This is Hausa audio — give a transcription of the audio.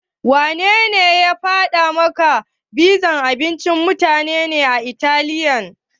Wanene ya faɗa maka pizza abincin mutanen Italiya ne?